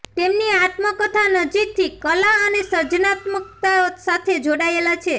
તેમની આત્મકથા નજીકથી કલા અને સર્જનાત્મકતા સાથે જોડાયેલા છે